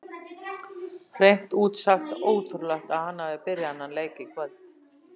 Hreint út sagt ótrúlegt að hann hafi byrjað þennan leik í kvöld.